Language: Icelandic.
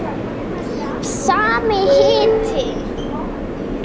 Sami hiti.